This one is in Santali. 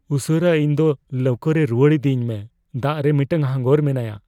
ᱩᱥᱟᱹᱨᱟ ᱤᱧ ᱫᱚ ᱞᱟᱹᱣᱠᱟᱹᱨᱮ ᱨᱩᱣᱟᱹᱲ ᱤᱫᱤᱭᱤᱧ ᱢᱮ, ᱫᱟᱜ ᱨᱮ ᱢᱤᱫᱴᱟᱝ ᱦᱟᱸᱜᱚᱨ ᱢᱮᱱᱟᱭᱟ ᱾